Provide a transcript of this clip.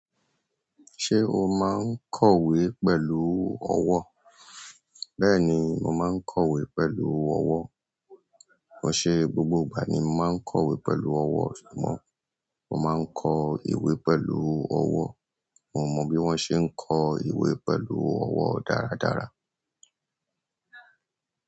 Ṣé o máa ń kọ̀wé pẹ̀lú ọwọ́? Bẹ́ẹ̀ni mo máa ń kọ̀wé pẹ̀lú ọwọ́. Ọ̀ṣẹ gbogbo ìgbà ni mo máa ń kọ̀wé pẹ̀lú ọwọ́ ṣùgbọ́n mo máa ń kọ ìwé pẹ̀lú ọwọ́. Mo mọ bí wón ṣe ń kọ ìwé pẹ̀lú ọwọ́ dáradára.